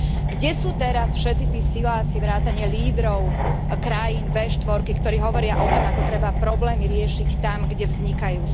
Kde sú teraz všetci tí siláci vrátane lídrov krajín V4, ktorí hovoria o tom, ako treba problémy riešiť tam, kde vznikajú?